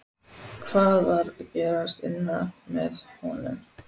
Hvað var að gerast innra með honum?